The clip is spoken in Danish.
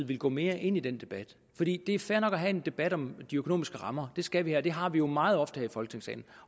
ville gå mere ind i den debat det er fair nok at have en debat om de økonomiske rammer det skal vi have og det har vi jo meget ofte her i folketingssalen